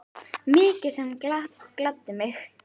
Mikið sem það gladdi mig.